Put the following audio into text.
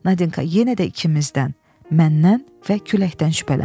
Nadinka yenə də ikimizdən, məndən və küləkdən şübhələnir.